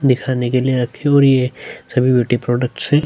दिखाने के लिए रखे है और ये सभी ब्यूटी प्रोडक्ट्स है।